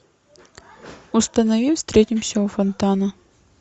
установи встретимся у фонтана